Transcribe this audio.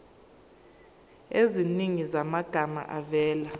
eziningi zamagama avela